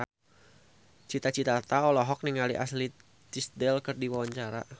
Cita Citata olohok ningali Ashley Tisdale keur diwawancara